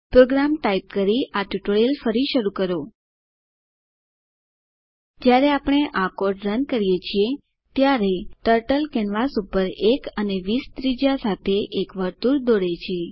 programme type કરીને પછી tutorial ફરી શરૂ કરો જયારે આપણે આ કોડ રન કરીએ છીએ ત્યારે ટર્ટલ કેનવાસ પર 1 અને 20 ત્રિજ્યા સાથે એક વર્તુળ દોરે છે